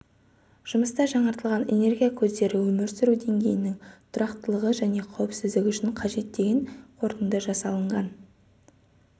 жұмыста жаңартылатын энергия көздері өмір сүру деңгейінің тұрақтылығы және қауіпсіздігі үшін қажет деген қорытынды жасалынған